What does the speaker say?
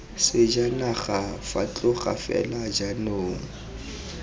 sejanaga fa tloga fela jaanong